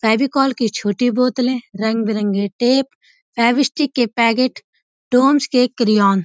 फैविकॉल की छोटी बोतलें रंग बरंगे टेप फैबीस्टिक के पैगेट डोम्स के क्रयोन --